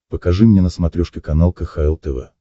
покажи мне на смотрешке канал кхл тв